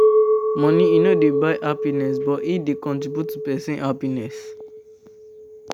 Money no dey buy happiness, but e dey contribute to person happiness